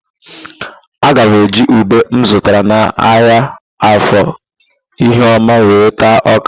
Aga m eji ube m zụtara n'ahịa Afọ Ihioma were taa ọ́kà.